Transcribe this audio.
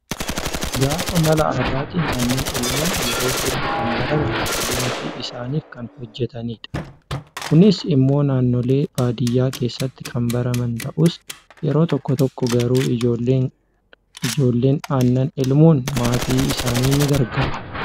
Gaafa mala addaatiin aannan elman yeroo hedduu kan barame haadholiin ofii isaaniif kan hojjatanidha. Kunis immoo naannoolee baadiyyaa keessatti kan baraman ta'us, yeroo tokko tokko garuu ijoolleen garuu aannan elmuun maatii isaanii ni gargaaru